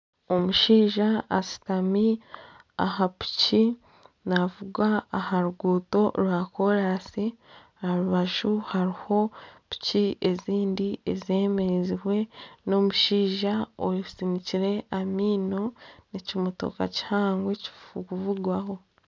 Omushaija ashutami aha piki navuga aha ruguuto rwa kolansi aharubaju hariho piki ezindi ezemereziibwe n'omushaija osinikire amaino n'ekimotoka kihango ekirikuvugwaho